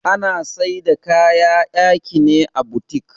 Ana Saida kaya'yaki ne à boutique.